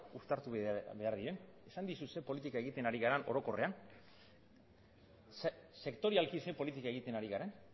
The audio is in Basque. uztartu behar diren esan dizut zein politika egiten ari garen orokorrean sektorialki zein politika egiten ari garen